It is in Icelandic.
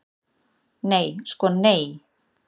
Nei sko nei.